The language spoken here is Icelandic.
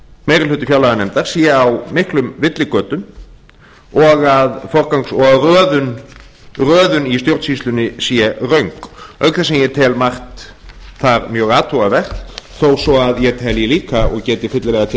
meiri hluti fjárlaganefndar sé á miklum villigötum og að röðun í stjórnsýslunni sé röng auk þess sem ég tel margt þar mjög athugunarvert þó svo að ég telji líka og geti fyllilega tekið undir